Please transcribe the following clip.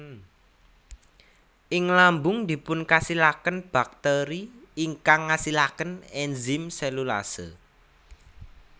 Ing lambung dipunkasilaken baktèri ingkang ngasilaken enzim selulase